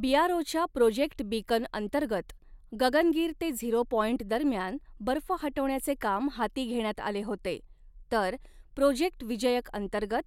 बीआरओच्या project Beacon अंतर्गत गगनगीर ते zero point दरम्यान बर्फ हटवण्याचे काम हाती घेण्यात आले होते, तर प्रोजेक्ट विजयक अंतर्गत